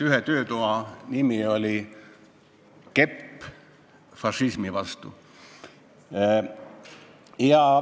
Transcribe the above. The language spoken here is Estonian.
Ühe töötoa nimi oli "Kepp fašismi vastu".